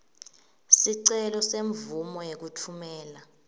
sicelo semvumo yekutfumela